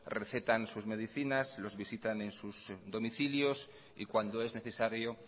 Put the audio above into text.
recetan sus medicinas los visitan en sus domicilios y cuando es necesario